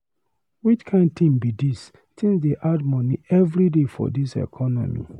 Which kain tin be dis, tins dey add moni everyday for dis economy.